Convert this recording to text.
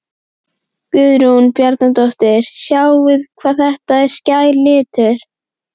Guðrún Bjarnadóttir: Sjáið hvað þetta er skær litur?